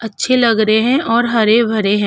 अच्छे लग रहे है और हरे-भरे हैं।